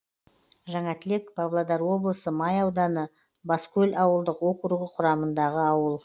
жаңатілек павлодар облысы май ауданы баскөл ауылдық округі құрамындағы ауыл